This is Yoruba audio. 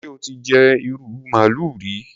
Ṣé o ti jẹ ìrù màálù rí?